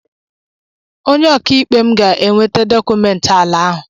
Onye ọkà ikpe m ga-eweta dọkụmentị ala ahụ.